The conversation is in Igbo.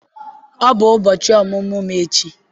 Ọ bụ ụbọchị ọmụmụ m echi.